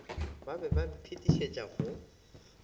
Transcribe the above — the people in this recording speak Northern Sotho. ba be ba mphetišetša go